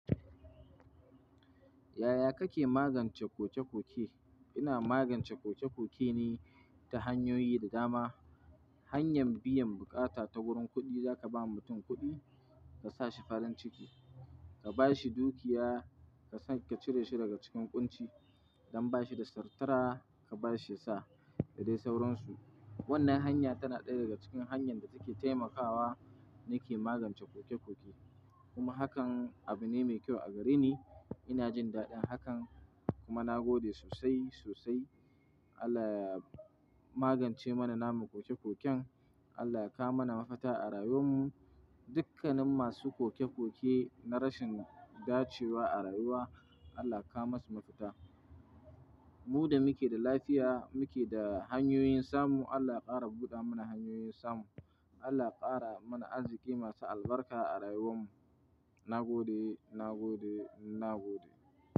Yaya kake magance koke-koke? Ina magance koke-koke ne ta hanyoyi da dama. Hanyan biyan bukata ta wurin kuɗi, zaka ba mutum kuɗi ka sa shi farin ciki. Ka ba shi dukiya, ka cire shi daga cikin ƙunci, don ba shi da sutura, ka ba shi ya sa, da dai sauransu. Wannan hanya tana ɗaya daga cikin hanyar da take taimakawa nake magance koke-koke. Kuma hakan abu ne mai kyau a gare ni. Ina jin daɗin hakan kuma na gode sosai, sosai. Allah ya magance mana namu koke-koken. Allah ya kawo mana mafita a rayuwar mu. Dukkanin masu koke-koke na rashin dacewa a rayuwa, Allah ka kawo masu mafita. Mu da muke da lafiya, muke da hanyoyin samu, Allah ya ƙara buɗa mana hanyoyin samu. Allah ya ƙara mana arziki masu albarka a rayuwar mu. Na gode, na gode, na gode.